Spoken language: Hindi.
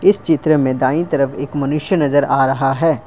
इस चित्र में दाएं तरफ एक मनुष्य नजर आ रहा है ।